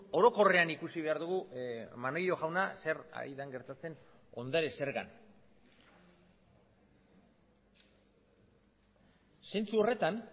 orokorrean ikusi behar dugu maneiro jauna zer ari den gertatzen ondare zergan zentzu horretan